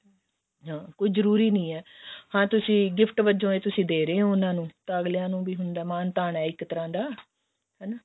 ਹਾਂ ਕੋਈ ਜਰੂਰੀ ਨਹੀਂ ਹੈ ਹਾਂ ਤੁਸੀਂ ਹਾਂ gift ਵਜੋਂ ਇਹ ਦੇ ਰਹੇ ਹੋ ਉਹਨਾ ਨੂੰ ਤਾਂ ਅਗਲਿਆਂ ਨੂੰ ਵੀ ਹੁੰਦਾ ਮਾਣ ਤਾਣ ਹੈ ਇੱਕ ਤਰ੍ਹਾਂ ਦਾ ਹਨਾ